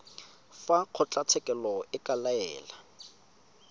fa kgotlatshekelo e ka laela